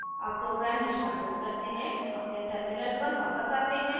अब program निष्पादित करते हैं अपने terminal पर वापस आते हैं